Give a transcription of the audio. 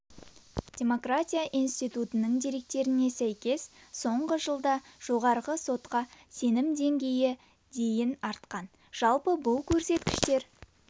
демократия институтының деректеріне сәйкес соңғы жылда жоғарғы сотқа сенім деңгейі дейін артқан жалпы бұл көрсеткіштер